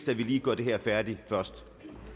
at vi lige gør det her færdigt først